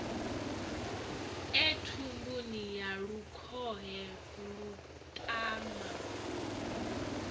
e thumbuni ya lukhohe vhuṱama